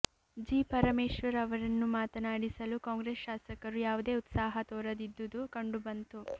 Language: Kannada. ಜಿ ಪರಮೇಶ್ವರ್ ಅವರನ್ನು ಮಾತನಾಡಿಸಲು ಕಾಂಗ್ರೆಸ್ ಶಾಸಕರು ಯಾವುದೇ ಉತ್ಸಾಹ ತೋರದಿದ್ದುದು ಕಂಡುಬಂತು